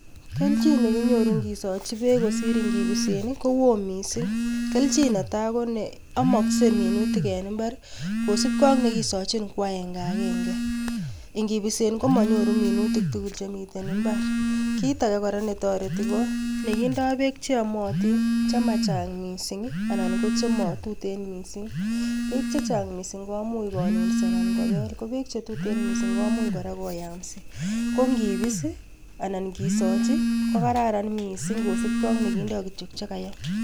Kelchin nekinyoru ingisochi beek kosir ingipisyii kowo missing, kelchin netai koni; amoksei minutia en imbar kosiibge ak nekisochin ko agenge agenge, ingibisen komonyoru minutik tugul beek en imbar. Kitage kora netoretii ko nekindoo beek cheomotin chechang missing ak chemotuten missing, beek chechang missing komuch kobel ak chetuten missing komuch koyamsii, ko ingisochi kokararan missing amun kindo kityok chekaam